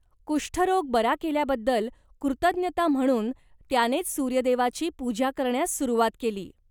कुष्ठरोग बरा केल्याबद्दल कृतज्ञता म्हणून त्यानेच सूर्यदेवाची पूजा करण्यास सुरुवात केली.